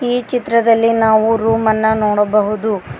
ಈ ಚಿತ್ರದಲ್ಲಿ ನಾವು ರೂಮನ್ನ ನೋಡಬಹುದು.